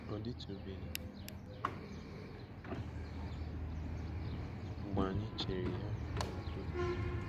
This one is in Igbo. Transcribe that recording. Ọ dịtụbeghị mgbe anyị chịrị ya n'udo. ”